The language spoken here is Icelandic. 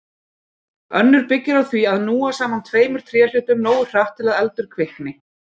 Önnur byggir á því að núa saman tveimur tréhlutum nógu hratt til að eldur kvikni.